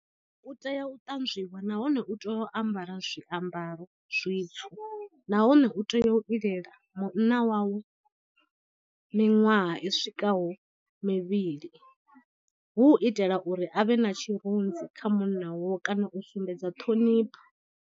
U tea u ṱanzwiwa nahone u tea u ambara zwiambaro zwitswu, nahone u tea u lilela munna wawe miṅwaha i swikaho mivhili hu u itela uri a vhe na tshirunzi kha munna wawe kana u sumbedza ṱhonipho.